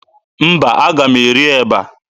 Mba, aga m eri eba.